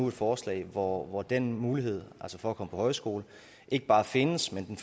et forslag hvor hvor den mulighed altså for at komme på højskole ikke bare findes men